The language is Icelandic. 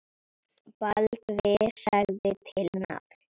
Baldvin sagði til nafns.